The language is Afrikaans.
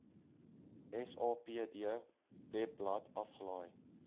sapd webblad afgelaai